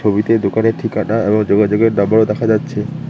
ছবিটি দোকানের ঠিকানা এবং যোগাযোগের নাম্বারও দেখা যাচ্ছে।